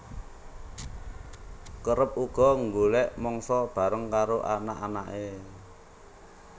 Kerep uga nggolek mangsa bareng karo anak anake